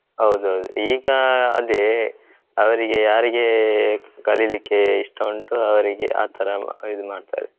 ಹೌದು ಹೌದು ಈಗ ಅದೇ ಅವ್ರಿಗೆ ಯಾರಿಗೆ ಕಲಿಲಿಕ್ಕೆ ಇಷ್ಟ ಉಂಟು ಅವ್ರಿಗೆ ಆಥರ ಇದ್ಮಾಡ್ತಯಿದ್